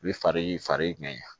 U bɛ fari fari ɲɛgɛn